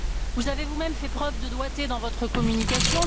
Vous avez vous même fait preuve de doigté dans votre communication